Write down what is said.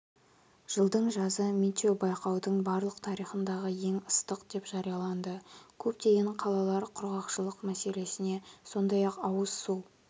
жылдың жазы метеобайқаудың барлық тарихындағы ең ыстығы деп жарияланды көптеген қалалар құрғақшылық мәселесіне сондай-ақ ауыз су